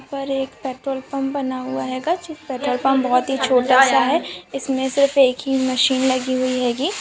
ऊपर एक petrol pump बना हुआ हेगा जो पेट्रोल पंप बहुत छोटा सा है इसमें सिर्फ एक मशीन लगी हुई हेगी ।